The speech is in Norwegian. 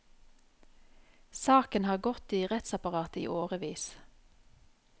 Saken har gått i rettsapparatet i årevis.